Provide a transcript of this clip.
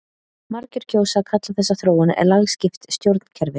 margir kjósa að kalla þessa þróun lagskipt stjórnkerfi